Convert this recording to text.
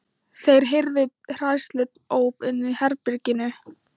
Þeir heyrðu hræðsluóp inni í herberginu.